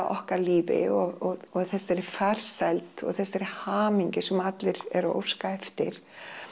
okkar lífi og þessari farsæld og þessari hamingju sem að allir eru að óska eftir